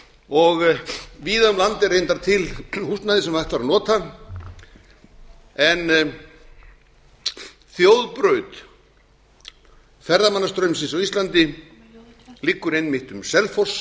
og víða um land er reyndar til húsnæði sem h ætti væri að nota en þjóðbraut ferðamannastraumsins á íslandi liggur einmitt árum selfoss